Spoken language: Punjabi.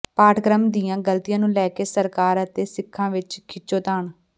ਪਾਠਕ੍ਰਮ ਦੀਆਂ ਗਲਤੀਆਂ ਨੂੰ ਲੈ ਕੇ ਸਰਕਾਰ ਅਤੇ ਸਿੱਖਾਂ ਵਿਚ ਖਿੱਚੋਤਾਣ